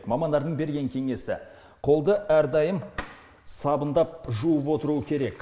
мамандардың берген кеңесі қолды әрдайым сабындап жуып отыру керек